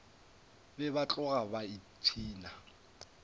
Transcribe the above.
be ba tloga ba ipshina